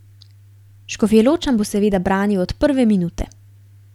Škofjeločan bo seveda branil od prve minute.